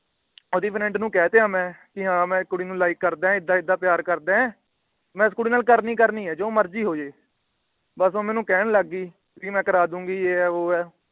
ਆਵਦੀ Friend ਨੂੰ ਕਹਿਤਾ ਮੈ। ਮੈ ਇੱਕ ਕੁੜੀ ਨੂੰ Like ਕਰਦਾ ਏਦਾਂ ਏਦਾਂ ਪਿਆਰ ਕਰਦਾ ਐ । ਮੈ ਉਸ ਕੁੜੀ ਨਾਲ ਕਰਨੀ ਕਰਨੀ ਏ ਜੋ ਮਰਜ਼ੀ ਹੋ ਜੇ । ਬਸ ਉਹ ਮੈਨੂੰ ਕਹਿਣ ਲੱਗ ਗਈ ਵੀ ਆ ਕਰਾ ਦੂੰਗੀ ਯੇ ਏ ਵੋ ਏ।